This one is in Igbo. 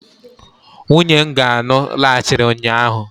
nwunye nga anụ laghachiri ụnyaahụ